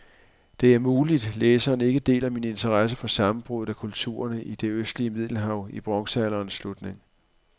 Det er muligt, læseren ikke deler min interesse for sammenbruddet af kulturerne i det østlige middelhav i bronzealderens slutning.